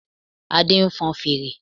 Adé nfon fèrè